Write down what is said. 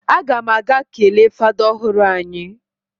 A gam aga kele fada ohuru anyi.